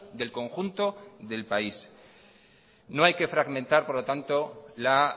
del conjunto del país no hay que fragmentar por lo tanto la